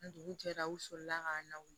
Ni dugu jɛra u sɔrɔla k'an lawuli